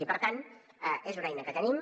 i per tant és una eina que tenim